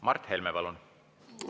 Mart Helme, palun!